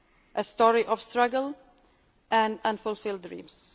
them a story. A story of struggle and of unfulfilled